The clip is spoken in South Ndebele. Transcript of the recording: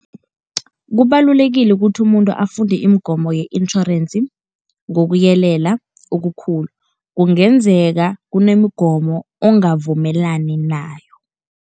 Kubalulekile ukuthi umuntu afunde imigomo ye-insurance ngokuyelela okukhulu, kungenzeka kunemigomo ongavumelani nayo.